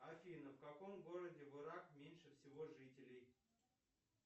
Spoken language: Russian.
афина в каком городе в ирак меньше всего жителей